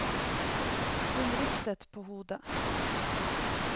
Hun ristet på hodet.